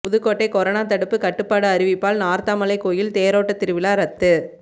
Pudukkottai corona தடுப்பு கட்டுப்பாடு அறிவிப்பால் நார்த்தாமலை கோயில் தேரோட்ட திருவிழா ரத்து